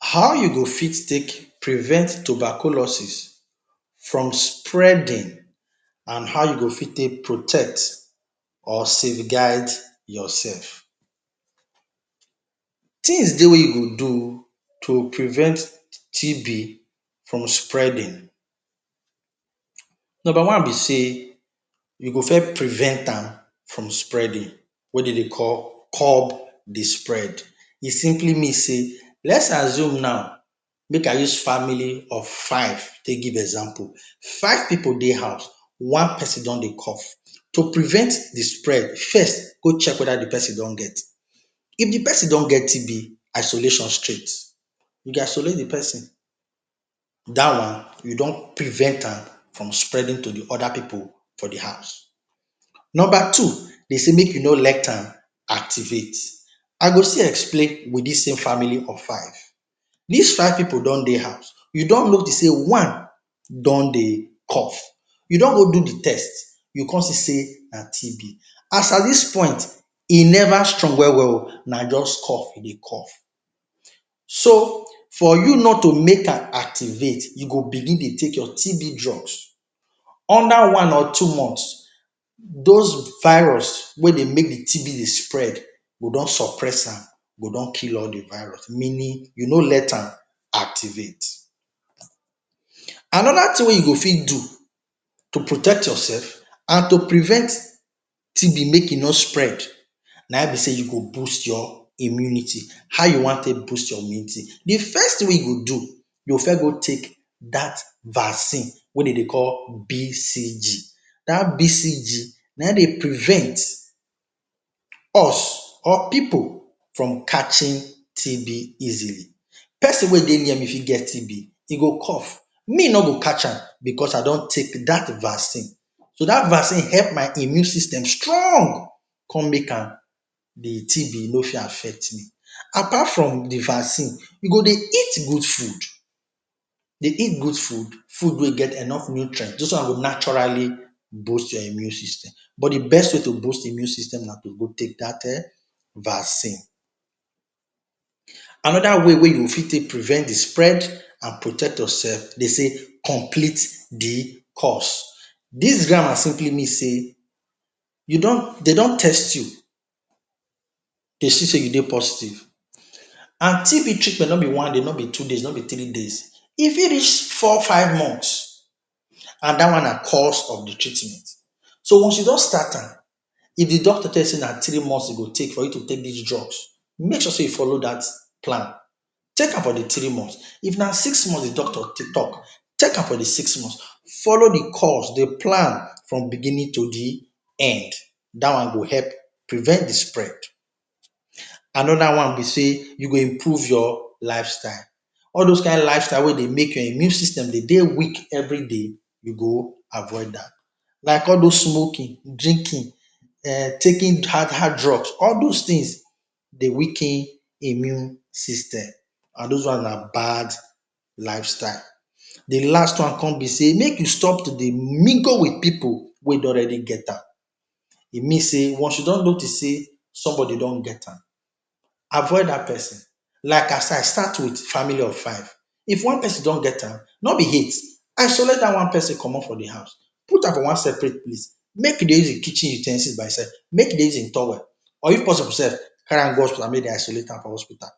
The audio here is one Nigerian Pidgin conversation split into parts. How u go fit take prevent tuberculosis from spreading and how u go fit take protect or safeguard yourself? Things Dey wey u go do to prevent TB from spreading. Number one b sey, u go first prevent am from spreading, wey dem Dey call cub d spread e simply mean sey let’s assume now, make I use family of five take give example, five pipu Dey house, one person don dey cough, to prevent d spread first go check weda d persin don get, if d persin don get TB isolation straight, u go isolate d persin, dat one u don prevent am from spreading to d oda pipu for d house. Number two, dem say make u no let am activate, I go still explain with dis same family of five, if five pipu dey house u don notice sey one do dey cough, u don go do d test u con notice sey na TB at dis point e never strong well well o na jus cough e dey cough, so for u not to make am activate, u go begin dey take your TB drugs under one or two months those virus we dey make d TB dey spread go don suppress am, go don kill all d virus, meaning you no let am activate. Anoda thing wey u go fit do to protect yourself and to prevent TB make e no spread na hin b say u go boost your immunity, how u wan take boost your immunity, d first thing wey u go do u go first go take dat vaccine wey dem Dey call BCG, dat BCG na hin Dey prevent us or pipu from catching TB easily. Persin wey Dey near me fit get TB hin go cough me no go catch am, because I don take that vaccine so dat vaccine help my immune system string con make am, d TB no fit affect me, apart from d vaccine u go Dey eat good food, Dey eat good food, food wey get enough nutrients those ones go naturally boost your immune system, but d best way to boost immune system na to go take dat vaccine. Anoda way wey u go fit take prevent d spread and protect yourself dey sey complete d course, dis grammar simply mean sey u don dem don test u, Dey see say u dey positive and TB treatment dem no b one dem no b two dem no b three days e fit reach four five months and dat one na cause of d treatment, so once u don start am, if d doctor tell y sey na three months e go take for u to take dat drugs, make sure sey u follow dat plan, take am for d three months, if na six months d doctor talk take am for d six months follow d course, d plan from beginning to d end, dat one go help prevent d spread. Another one b say u go improve your lifestyle, all those kind lifestyle wey Dey make your immune system Dey Dey weak everyday u go avoid am, like all those smoking, drinking, um taking hard hard drugs all those things Dey weaken immune system, and those ones na bad lifestyle di last one con b say make u stop to Dey mingle with pipu wey don already get am, e mean sey once u don notice sey somebody don get am, avoid dat persin, like I start with family of five, if one person do get am, no b hate, isolate dat one person commot for d house put am one separate place make u Dey use hin kitchen u ten sils by hin self, make he Dey use hin towel or if possible sef carry am go hospital make dem isolate am for hospital,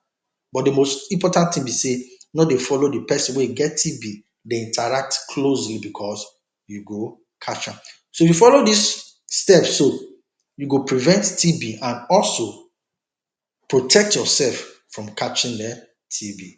but d most important thing b say no Dey follow di persin wey get TB Dey interact closely because u go catch am, so if you follow dis steps so u go prevent TB and also, protect yourself from catching TB.